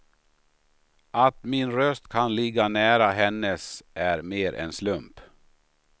Att min röst kan ligga nära hennes är mer en slump.